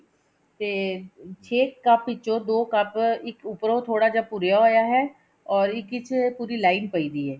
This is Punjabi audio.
ਤੇ ਛੇ ਕੱਪ ਵਿੱਚੋ ਦੋ ਕੱਪ ਇੱਕ ਉੱਪਰੋਂ ਥੋੜਾ ਜਾ ਭੁਰਿਆ ਹੋਇਆ ਐ or ਇੱਕ ਇਚ ਪੂਰੀ line ਪਈ ਹੋਈ ਐ